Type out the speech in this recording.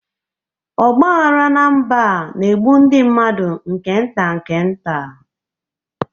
Ọgba aghara na mba a na-egbu ndị mmadụ nke nta nke nta